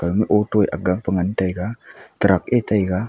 aga ma auto aga pe ngan taiga truck ea taiga.